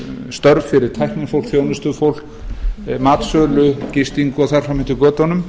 störf fyrir tæknifólk þjónustufólk matsölur gisting og þar fram eftir götunum